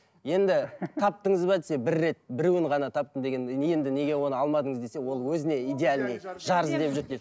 енді таптыңыз ба десе бір рет біреуін ғана таптым деген енді неге оны алмадыңыз десе ол өзіне идеальный жар іздеп жүр деп